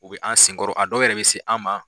U bɛ an sen kɔrɔ a dɔw yɛrɛ bɛ se an ma.